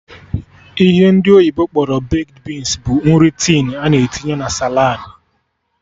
Ihe ndị oyibo kpọrọ baked beans bụ nri tin a na-etinye na saladị